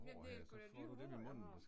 Ja det sguda de hår den har